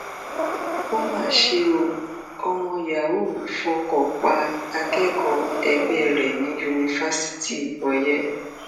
ó mà ṣe o ọmọ yahoo fọkọ pa akẹkọọ ẹgbẹ rẹ ní yunifásitì oye